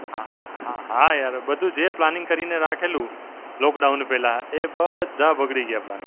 હાં હાં હાં યાર, બધુ જે planning કરીને રાખેલું Lock down પહેલા એ બધાં બગડી ગયા planning.